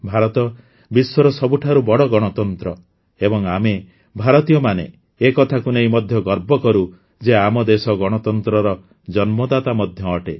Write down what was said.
ଭାରତ ବିଶ୍ୱର ସବୁଠାରୁ ବଡ଼ ଗଣତନ୍ତ୍ର ଏବଂ ଆମେ ଭାରତୀୟମାନେ ଏ କଥାକୁ ନେଇ ମଧ୍ୟ ଗର୍ବ କରୁ ଯେ ଆମ ଦେଶ ଗଣତନ୍ତ୍ରର ଜନ୍ମଦାତା ମଧ୍ୟ ଅଟେ